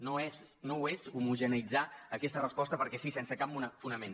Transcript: no ho és homogeneïtzar aquesta resposta perquè sí sense cap fonament